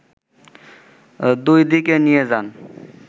দুই দিকে নিয়ে যান